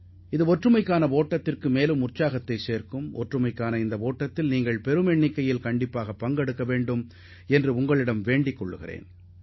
எனவே ஒற்றுமை ஓட்டத்தில் இயன்ற அளவுக்கு பெருமளவிலானோர் பங்கேற்குமாறு நான் கேட்டுக்கொள்கிறேன்